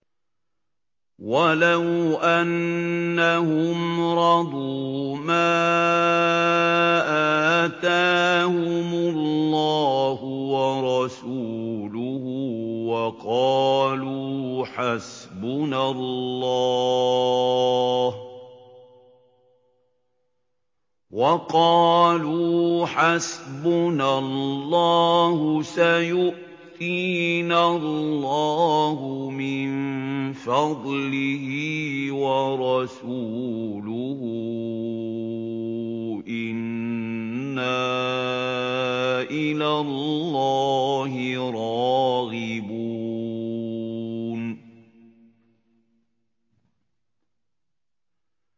وَلَوْ أَنَّهُمْ رَضُوا مَا آتَاهُمُ اللَّهُ وَرَسُولُهُ وَقَالُوا حَسْبُنَا اللَّهُ سَيُؤْتِينَا اللَّهُ مِن فَضْلِهِ وَرَسُولُهُ إِنَّا إِلَى اللَّهِ رَاغِبُونَ